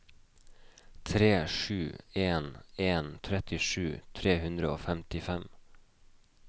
tre sju en en trettisju tre hundre og femtifem